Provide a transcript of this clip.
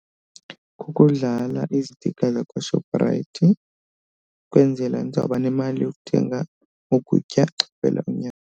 Kukudlala izitikha zakwaShoprite kwenzela ndizawuba nemali yokuthenga ukutya xa kuphela inyanga.